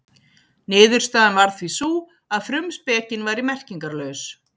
Niðurstaðan varð því sú að frumspekin væri merkingarlaus.